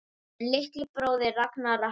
Þinn litli bróðir, Ragnar Atli.